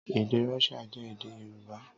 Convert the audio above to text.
Èdè Rọ́ṣíà jọ èdè Yorùbá.